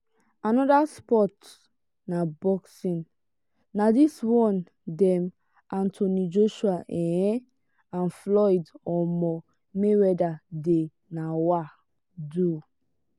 another sports na boxing. na this one dem anothony joshua um and floyd um mayweather dey um do.